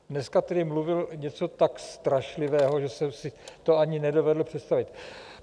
Dneska tedy mluvil něco tak strašlivého, že jsem si to ani nedovedl představit.